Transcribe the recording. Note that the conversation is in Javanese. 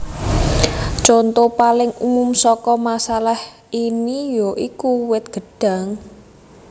Conto paling umum saka masalah ini ya iku wit gedhang